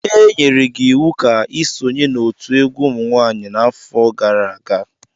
Enyere gi iwu ka i sonye n'otu egwu umunwaanyị nke afo gara aga!